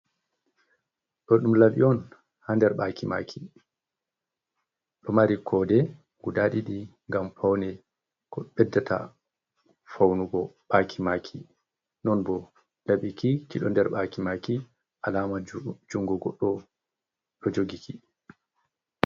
Do ɗum laɓi on ha nder ɓaki maki ɗo mari kode guda ɗiɗi ngam paune ko beddata faunugo ɓaki maki non bo laɓi ki kiɗo nder ɓaki maki alama jungo goɗɗo ɗo jogi ki.